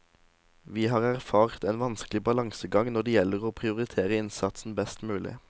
Vi har erfart en vanskelig balansegang når det gjelder å prioritere innsatsen best mulig.